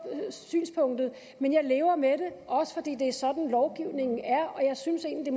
synspunktet men jeg lever med det også fordi det er sådan lovgivningen er og jeg synes egentlig